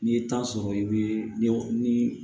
N'i ye taa sɔrɔ i bɛ ni